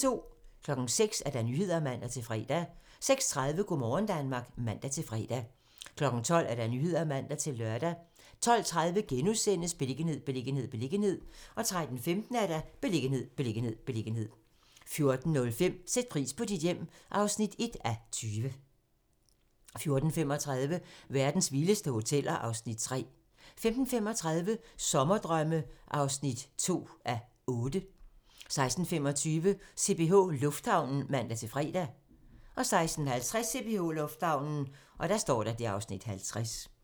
06:00: Nyhederne (man-fre) 06:30: Go' morgen Danmark (man-fre) 12:00: Nyhederne (man-lør) 12:30: Beliggenhed, beliggenhed, beliggenhed * 13:15: Beliggenhed, beliggenhed, beliggenhed 14:05: Sæt pris på dit hjem (1:20) 14:35: Verdens vildeste hoteller (Afs. 3) 15:35: Sommerdrømme (2:8) 16:25: CPH Lufthavnen (man-fre) 16:50: CPH Lufthavnen (Afs. 50)